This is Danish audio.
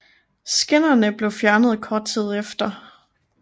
Skinnerne blev fjernet kort tid efter